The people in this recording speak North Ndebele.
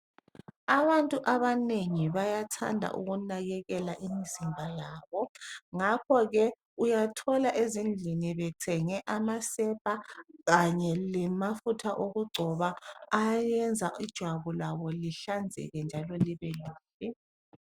Abantu abanengi bayathanda ukunakekela imizimba yabo. Ngakho ke uyathola ezindlini bethenge amasepa kanye lamafutha okugcoba ayenza ijwabu labo lihlanzeke njalo libe lihle.